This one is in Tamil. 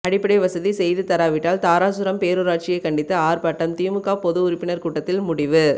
அடிப்படை வசதி செய்து தராவிட்டால் தாராசுரம் பேரூராட்சியை கண்டித்து ஆர்ப்பாட்டம் திமுக பொது உறுப்பினர் கூட்டத்தில் முடிவு